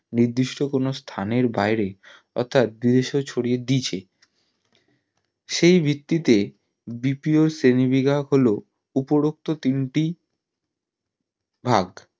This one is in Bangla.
নিদির্ষ্ট কোনো স্থানের বাইরে অর্থাৎ বিদেশেও ছড়িয়ে দিয়েছে সেই ভিত্তি BPO র শ্রেণী বিভাগ হলো উপরোক্ত তিনটি ভাগ